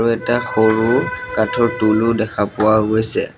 আৰু এটা সৰু কাঠৰ টুল ও দেখা পোৱাও গৈছে।